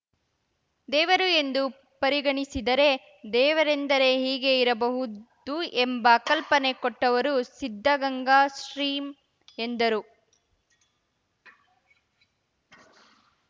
ದೇವರು ಎಂದು ಪರಿಗಣಿಸಿದರೆ ದೇವರೆಂದರೆ ಹೀಗೇ ಇರಬಹುದು ಎಂಬ ಕಲ್ಪನೆ ಕೊಟ್ಟವರು ಸಿದ್ಧಗಂಗಾ ಶ್ರೀ ಎಂದರು